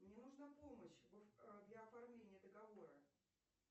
мне нужна помощь для оформления договора